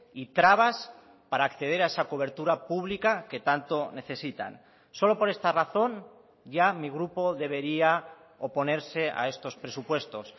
y trabas para acceder a esa cobertura pública que tanto necesitan solo por esta razón ya mi grupo debería oponerse a estos presupuestos